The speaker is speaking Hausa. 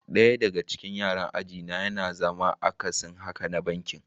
Daya daga cikin yaran aji na yana zama akasin haka na bankin.